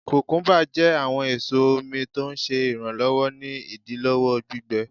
kùkúḿbà jẹ awọn eso omi, tọ ń ṣe iranlọwọ ni idilọwọ gbígbẹ.